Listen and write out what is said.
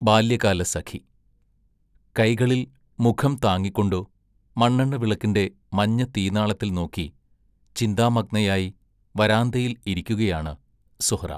ബാല്യകാലസഖി കൈകളിൽ മുഖം താങ്ങിക്കൊണ്ടു മണ്ണെണ്ണ വിളക്കിന്റെ മഞ്ഞ തീനാളത്തിൽ നോക്കി, ചിന്താമഗ്നയായി വരാന്തയിൽ ഇരിക്കുകയാണ് സുഹ്റ